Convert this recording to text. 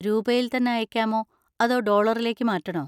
രൂപയിൽ തന്നെ അയയ്ക്കാമോ അതോ ഡോളറിലേക്ക് മാറ്റണോ?